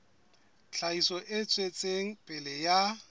tlhahiso e tswetseng pele ya